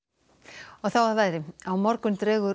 og þá að veðri á morgun dregur úr